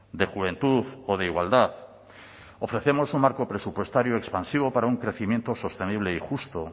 de juventud o de igualdad ofrecemos un marco presupuestario expansivo para un crecimiento sostenible y justo